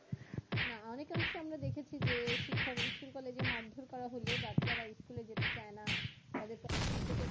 না অনেকে অবশ্যই আমরা দেখেছি যে শিক্ষা school college এ মারধর করা হলে বাচ্চারা স্কুলে যেতে চাই না তাদেরকে অনেক সময় প্রতি